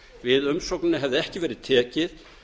við umsókninni hefði ekki verið tekið